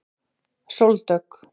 Sóldögg